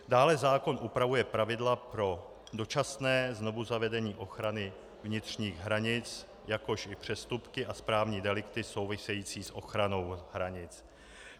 Dále zákon upravuje pravidla pro dočasné znovuzavedení ochrany vnitřních hranic, jakož i přestupky i správní delikty související s ochranou hranic.